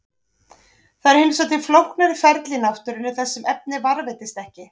Það eru hins vegar til flóknari ferli í náttúrunni þar sem efnið varðveitist ekki.